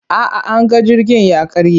A'a, anga jirgin ya karye.